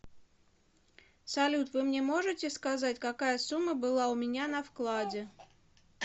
салют вы мне можите сказать какая сумма была у меня на вкладе